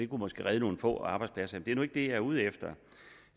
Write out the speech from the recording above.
kunne måske redde nogle få arbejdspladser det er nu ikke det jeg er ude efter